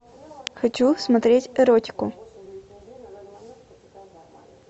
хочу смотреть эротику